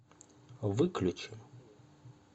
выключи